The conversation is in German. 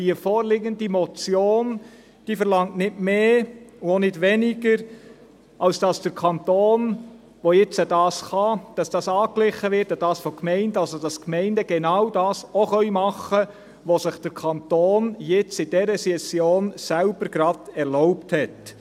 Die vorliegende Motion verlangt nicht mehr und auch nicht weniger, als dass die Gemeinden an den Kanton, der dies nun kann, angeglichen werden, damit die Gemeinden auch tun können, was sich der Kanton in dieser Session gerade selbst auch erlaubt hat.